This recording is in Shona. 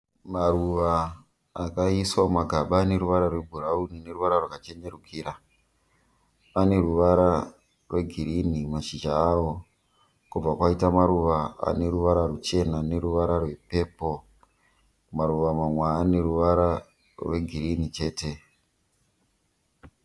Maruva akaiswa mumagaba ane ruvara rwe bhurauni neruvara rwaka chenerukira. Aneruvara rwe girinhi mumashizha aro. Kobva kwaita maruva ane ruvara ruchena neruvara rwepepuru. Mamwe maruva ane ruvara rwe girinhi chete.